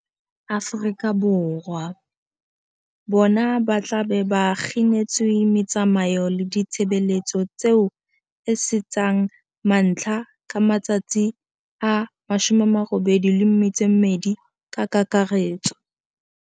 Afrika Borwa, bona ba tla be ba kginetswe metsamao le ditshebeletso tseo e seng tsa mantlha ka matsatsi a 82 ka kakaretso.